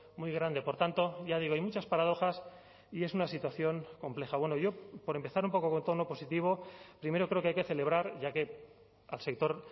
muy grande por tanto ya digo hay muchas paradojas y es una situación compleja bueno yo por empezar un poco con tono positivo primero creo que hay que celebrar ya que al sector